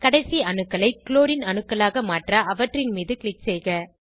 கடைசி அணுக்களை குளோரின் அணுக்களாக மாற்ற அவற்றின் மீது க்ளிக் செய்க